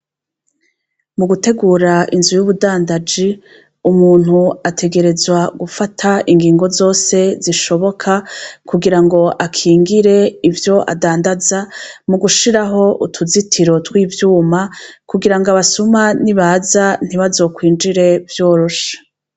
Mu gutegura inzu y'ubundandaji, umuntu ategerezwa gufata ingingo zose zishoboka kugira ngo akingire ivyo adandaza mu gushiraho utuzitiro zose z'ivyuma kugira ngo abasuma nibaza ntibazokwinjire vyoroshe.